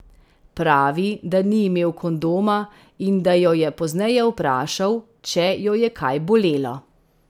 Pravi, da ni imel kondoma in da jo je pozneje vprašal, če jo je kaj bolelo.